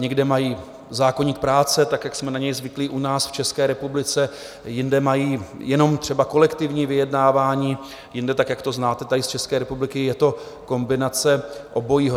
Někde mají zákoník práce tak, jak jsme na něj zvyklí u nás, v České republice, jinde mají jenom třeba kolektivní vyjednávání, jinde tak, jak to znáte tady z České republiky, je to kombinace obojího.